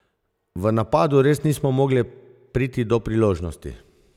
V napadu res nismo mogle priti do priložnosti.